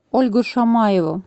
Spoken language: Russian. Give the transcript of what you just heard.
ольгу шамаеву